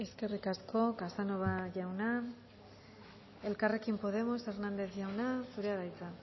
eskerrik asko casanova jauna elkarrekin podemos hernández jauna zurea da hitza